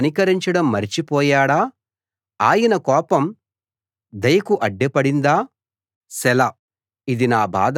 దేవుడు కనికరించడం మరచిపోయాడా ఆయన కోపం దయకు అడ్డుపడిందా సెలా